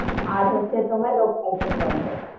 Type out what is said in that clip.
আর হচ্ছে তোমার local train বন্ধ,